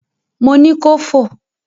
Mo ni kò fò!